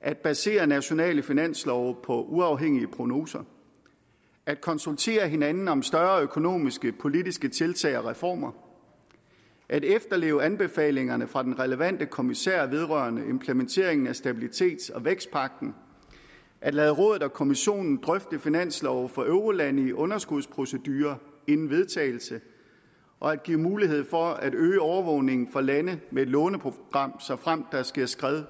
at basere nationale finanslove på uafhængige prognoser at konsultere hinanden om større økonomiske politiske tiltag og reformer at efterleve anbefalingerne fra den relevante kommissær vedrørende implementering af stabilitets og vækstpagten at lade rådet og kommissionen drøfte finanslove for eurolande i underskudsprocedurer inden vedtagelse og at give mulighed for at øge overvågningen for lande med et låneprogram såfremt der sker skred